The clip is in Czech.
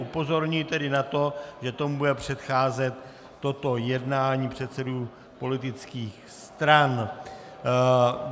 Upozorňuji tedy na to, že tomu bude předcházet toto jednání předsedů politických stran.